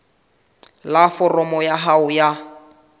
la foromo ya hao ya